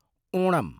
Onam